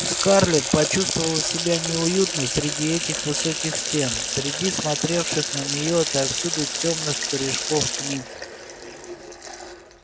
скарлетт почувствовала себя неуютно среди этих высоких стен среди смотревших на неё отовсюду тёмных корешков книг